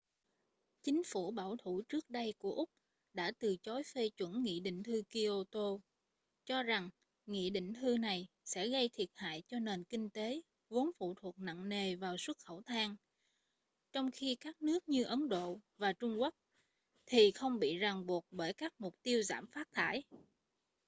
chính phủ bảo thủ trước đây của úc đã từ chối phê chuẩn nghị định thư kyoto cho rằng nghị định thư này sẽ gây thiệt hại cho nền kinh tế vốn phụ thuộc nặng nề vào xuất khẩu than trong khi các nước như ấn độ và trung quốc thì không bị ràng buộc bởi các mục tiêu giảm phát thải